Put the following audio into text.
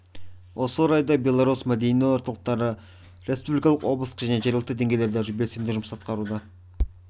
осы орайда белорус мәдени орталықтары республикалық облыстық және жергілікті деңгейлерде белсенді жұмыс атқаруда